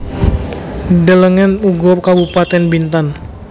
Delengen uga Kabupatèn Bintan